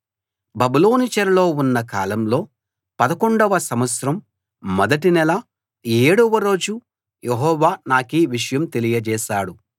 బబులోను చెరలో ఉన్న కాలంలో పదకొండవ సంవత్సరం మొదటి నెల ఏడవ రోజు యెహోవా నాకీ విషయం తెలియచేశాడు